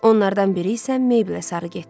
Onlardan biri isə Meyblə sarı getdi.